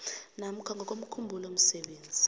namkha ngokomkhumbulo msebenzi